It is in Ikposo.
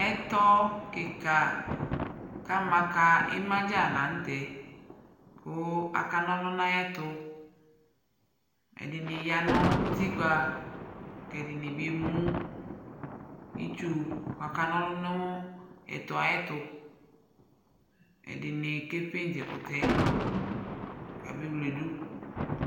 Ɛtɔ kɩka kʋ ma ka ɩma dza la nʋ tɛ kʋ akana ɔlʋ nʋ ayɛtʋ Ɛdɩnɩ ya nʋ utikpa kʋ ɛdɩnɩ bɩ emu itsu kʋ akana ɔlʋ ɛtɔ yɛ ayɛtʋ Ɛdɩnɩ ka pɩndz ɛkʋtɛ yɛ kabewledu